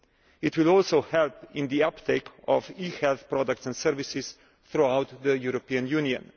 It will also help in the uptake of e health products and services throughout the European Union.